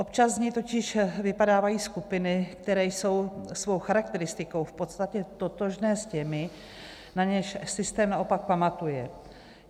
Občas z něj totiž vypadávají skupiny, které jsou svou charakteristikou v podstatě totožné s těmi, na něž systém naopak pamatuje.